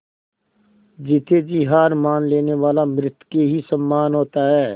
जीते जी हार मान लेने वाला मृत के ही समान होता है